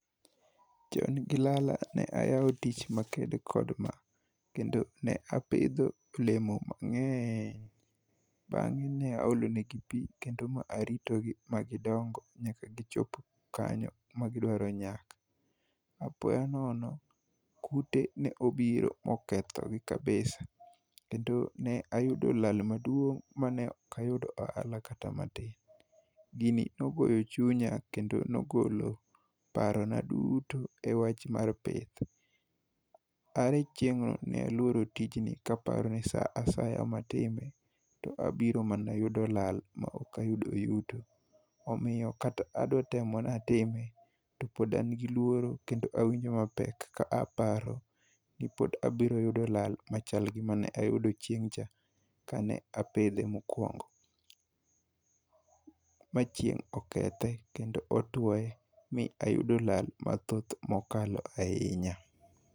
Chon gi lala ne ayawo tich ma ked kod ma. Kendo ne apidho olemo mangény. Bangé ne aolo negi pi kendo ma aritogi ba gidongo, nyaka gichopo kanyo ma gidwaro nyak. Apoya nono, kute ne obiro ba oketho gi kabisa. Kendo ne ayudo lal maduong' ma ne ok ayudo ohala kata matin. Gini nogoyo chunya, kendo ne ogolo paro na duto e wach mar pith. Are chieng'no ne aluoro tijni ka aparo ni sa asaya matime, to abiro mana yudo lal ma ok ayudo yuto. Omiyo kata adwa temo ni atime, to pod an gi luoro, kendo awinjo mapek ka aparo ni pod abiro yudo lal machal gi mane ayudo chieng'cha ka ne apidhe mokwongo, ma chieng' okethe, kedo otwoye mi ayudo lal mathoth, mokalo ahinya.